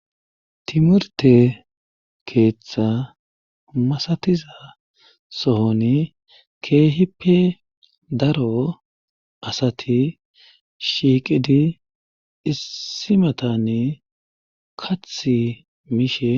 timurte keeththa masatiza sohoni keehippe daro asati shiiqidi issimatanni kathi miishe